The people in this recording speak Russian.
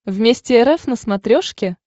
вместе рф на смотрешке